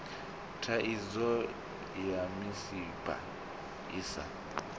thaidzo ya misipha i sa